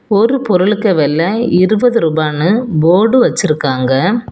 ஒரு பொருளுக்கு வெல இருபது ரூபான்னு போர்டு வச்சிருக்காங்க.